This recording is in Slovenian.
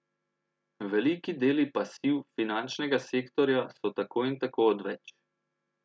Veliki deli pasiv finančnega sektorja so tako in tako odveč.